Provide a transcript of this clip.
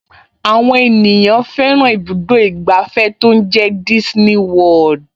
Àwọn ènìyàn fẹ́ràn ibùdó ìgbàfẹ́ tó ń jẹ́ Disney World